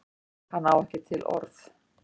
Hann á ekki til orð.